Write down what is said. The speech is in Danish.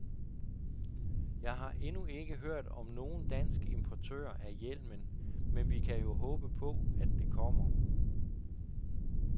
Jeg har endnu ikke hørt om nogen dansk importør af hjelmen, men vi kan jo håbe på, at det kommer.